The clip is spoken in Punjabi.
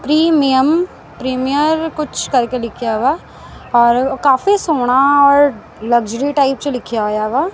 ਪ੍ਰੀਮੀਅਮ ਪ੍ਰੀਮਿਅਰ ਕੁਛ ਕਰਕੇ ਲਿੱਖਿਆਵਾ ਔਰ ਕਾਫੀ ਸੋਹਣਾ ਔਰ ਲਗਜ਼ੁਰੀ ਟਾਇਪ ਚ ਲਿੱਖਿਆ ਹੋਇਆਵਾ।